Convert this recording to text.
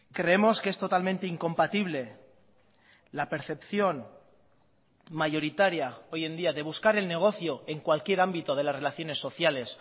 creemos que es totalmente incompatible la percepción mayoritaria hoy en día de buscar el negocio en cualquier ámbito de las relaciones sociales